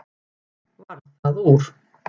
Varð það úr.